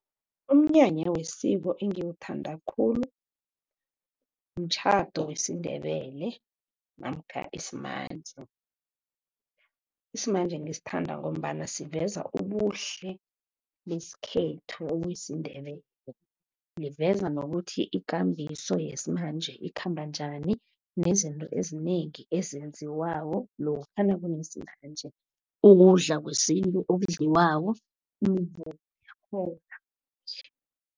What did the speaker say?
Umnyanya wesiko engiwuthanda khulu, mtjhado wesiNdebele namkha isimanje. Isimanje ngisithanda ngombana siveza ubuhle besikhethu okusiNdebele. Liveza nokuthi ikambiso yesimanje ikhamba njani, nezinto ezinengi ezenziwako lokha nakunesimanje, ukudla kwesintu okudliwako, imivumo yakhona.